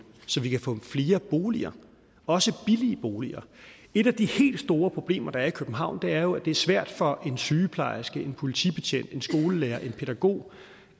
så vi kan få flere boliger også billige boliger et af de helt store problemer der er i københavn er jo at det er svært for en sygeplejerske en politibetjent en skolelærer en pædagog